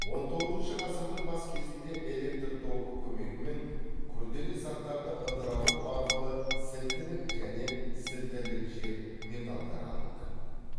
он тоғызыншы ғасырдың бас кезінде электр тогы көмегімен күрделі заттарды ыдырату арқылы сілтілік және сілтілік жер металдар алынды